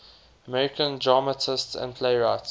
american dramatists and playwrights